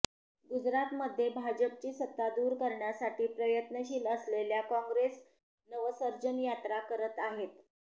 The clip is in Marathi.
गुजरातमध्ये भाजपची सत्ता दूर करण्यासाठी प्रयत्नशील असलेल्या काँग्रेस नवसर्जन यात्रा करत आहे